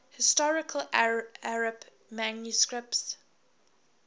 historical arabic manuscripts